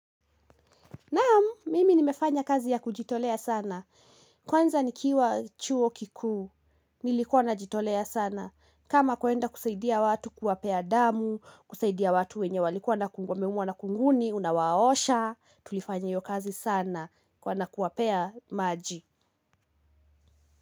Naam, mimi nimefanya kazi ya kujitolea sana, kwanza nikiwa chuo kikuu, nilikuwa na jitolea sana, kama kuenda kusaidia watu kuwapea damu, kusaidia watu wenye walikuwa na kungu, wameumwa na kunguni, unawaosha, tulifanya hio kazi sana kwa na kuwapea maji.